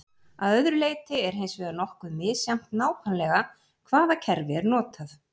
að öðru leyti er hins vegar nokkuð misjafnt nákvæmlega hvaða kerfi er notað